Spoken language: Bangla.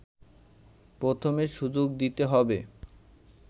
প্রথমে সুযোগ দিতে হবে